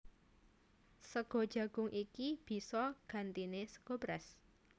Sega jagung iki bisa gantiné sega beras